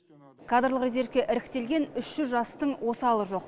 кадрлық резервке іріктелген үш жүз жастың осалы жоқ